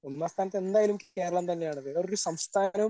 ഒന്നാംസ്ഥാനത്ത് എന്തായാലും കേരളം തന്നെയാണ് വേറെ ഒരു സംസ്ഥാനവും